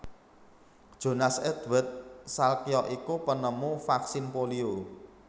Jonas Edward Salkya iku penemu vaksin polio